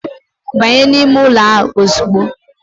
Banye n'ime ụlọ a ozugbo.